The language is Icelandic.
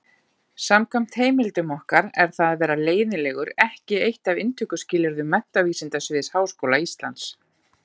Samkvæmt heimildum okkar er það að vera leiðinlegur ekki eitt af inntökuskilyrðum Menntavísindasviðs Háskóla Íslands.